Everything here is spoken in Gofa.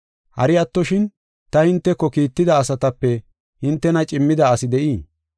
Hari attoshin, ta hinteko kiitida asatape hintena cimmida asi de7ii?